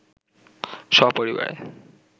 স্বপরিবারে